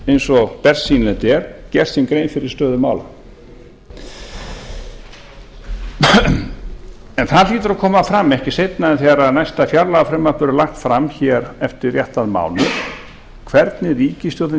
eins og bersýnilegt er gert sér grein fyrir stöðu mála en það hlýtur að koma fram ekki seinna en þegar næsta fjárlagafrumvarp verður lagt fram hér eftir réttan mánuð hvernig ríkisstjórnin